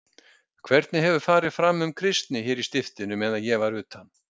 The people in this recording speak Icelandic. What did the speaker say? Hvernig hefur farið fram um kristni hér í stiftinu meðan ég var utan?